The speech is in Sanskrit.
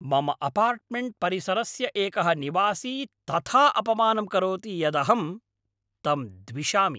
मम अपार्टमेण्ट्परिसरस्य एकः निवासी तथा अपमानं करोति यदहं तं द्विषामि।